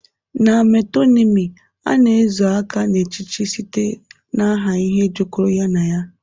Na metonymy, a na-ezo aka n'echiche site n'aha ihe jikọrọ ya na ya